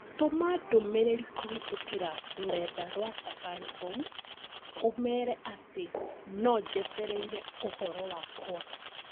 Tũma ndũmĩrĩri kũhĩtũkĩra rũrenda rũa Safaricom ũmeere atĩ nojetereire ũhoro wakwa